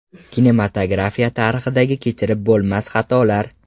Kinematografiya tarixidagi kechirib bo‘lmas xatolar .